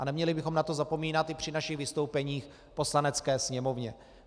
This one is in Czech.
A neměli bychom na to zapomínat i při svých vystoupeních v Poslanecké sněmovně.